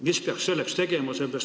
Mis peaks selleks tegema?